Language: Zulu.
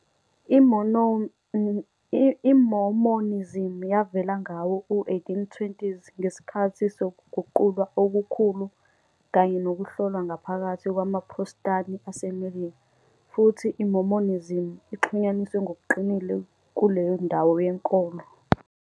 I-Mormonism yavela ngawo-1820s ngesikhathi sokuguqulwa okukhulu kanye nokuhlolwa ngaphakathi kwamaProthestani aseMelika, futhi iMormonism ixhunyaniswe ngokuqinile kuleyo ndawo yenkolo.